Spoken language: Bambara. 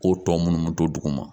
Ko tɔ munnu bɛ to duguma